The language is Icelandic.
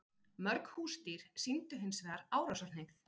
Mörg húsdýr sýndu hins vegar árásarhneigð.